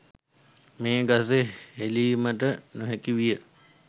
මේ ගස හෙළීමට නොහැකි විය.